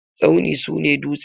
Tsauni sune duste.